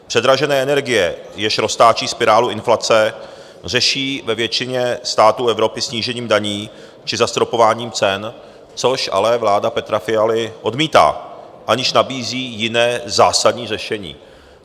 Předražené energie, jež roztáčejí spirálu inflace, řeší ve většině států Evropy snížením daní či zastropováním cen, což ale vláda Petra Fialy odmítá, aniž nabízí jiné zásadní řešení.